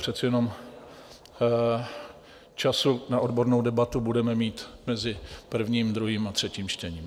Přece jenom času na odbornou debatu budeme mít mezi prvním, druhým a třetím čtením.